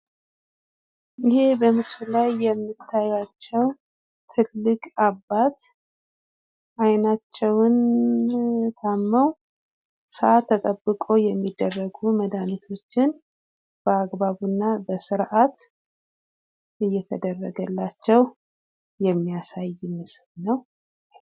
ይህ በምስሉ ላይ የምታያቸው ትልቅ አባት አይናቸውን ታመው ሰዓት ተጠብቆ የሚደረጉ መድሀኒቶችን በአግባቡና በስርዓት እየተደረገላቸው የሚያሳይ ምስል ነው።